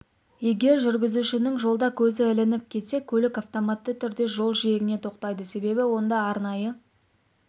егер жүргізушінің жолда көзі ілініп кетсе көлік автоматты түрде жол жиегіне тоқтайды себебі онда арнайы